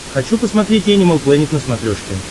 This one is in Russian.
хочу посмотреть энимал плэнет на смотрешке